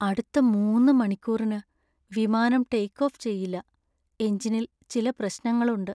അടുത്ത മൂന്ന് മണിക്കൂറിനു വിമാനം ടേക്ക് ഓഫ് ചെയ്യില്ല. എഞ്ചിനിൽ ചില പ്രശ്നങ്ങളുണ്ട്.